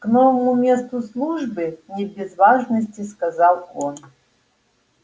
к новому месту службы не без важности сказал он